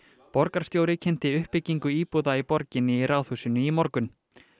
borgarstjóri kynnti uppbyggingu íbúða í borginni í Ráðhúsinu í morgun